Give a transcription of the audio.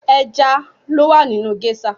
Ẹja lowa nínú gésà